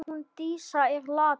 Hún Dísa er látin!